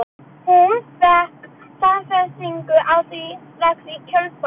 Hún fékk staðfestingu á því strax í kjölfarið.